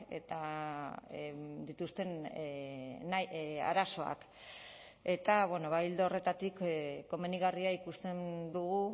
eta dituzten arazoak eta ildo horretatik komenigarria ikusten dugu